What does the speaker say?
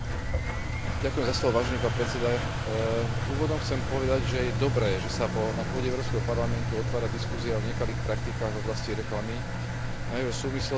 Úvodom chcem povedať, že je dobré, že sa na pôde Európskeho parlamentu otvára diskusia o nekalých praktikách v oblasti reklamy, najmä v súvislosti s rozvojom nových reklamných metód a technológií.